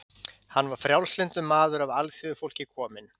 Hann var frjálslyndur maður af alþýðufólki kominn.